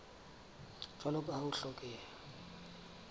jwalo ka ha ho hlokeha